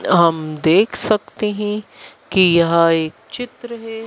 हम देख सकते हैं कि यहां एक चित्र है।